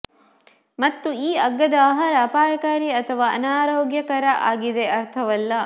ಮತ್ತು ಈ ಅಗ್ಗದ ಆಹಾರ ಅಪಾಯಕಾರಿ ಅಥವಾ ಅನಾರೋಗ್ಯಕರ ಆಗಿದೆ ಅರ್ಥವಲ್ಲ